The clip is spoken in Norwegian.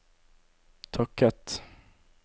takket